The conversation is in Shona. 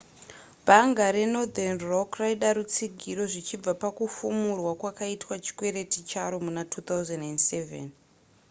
bhanga renorthern rock raida rutsigiro zvichibva pakufumurwa kwakaitwa chikwereti charo muna 2007